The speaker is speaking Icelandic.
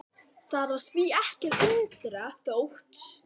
Það var því ekki að undra þótt